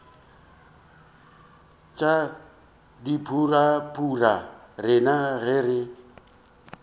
tša dipurabura rena ge re